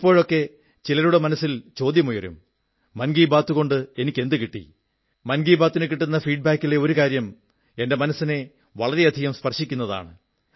ചിലപ്പോഴൊക്കെ ചിലരുടെ മനസ്സിൽ ചോദ്യമുയരും മൻ കീ ബാത്തുകൊണ്ട് എനിക്കെന്തു കിട്ടി മൻ കീ ബാതിനു കിട്ടുന്ന ഫീഡ് ബാക്കിലെ ഒരു കാര്യം എന്റെ മനസ്സിനെ വളരെയധികം സ്പർശിക്കുന്നതാണ്